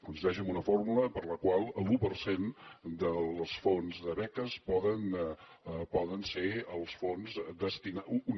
consisteix en una fórmula per la qual l’un per cent dels fons de beques poden ser els fons destinats